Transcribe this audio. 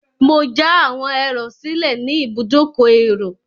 Mo já àwọn ẹrò sílẹ̀ ní ibùdókọ̀ èrò.